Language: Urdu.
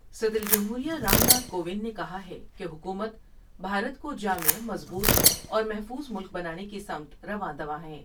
صدر جمہور یہ رام ناتھ کووند نے کہا ہے کہ حکومت بھارت کو جامع ، مضبوط اور محفوظ ملک بنانے کی سمت رواں ں دواں ہیں ۔